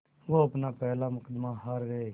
वो अपना पहला मुक़दमा हार गए